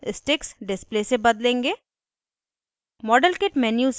हम display को sticks display से बदलेंगे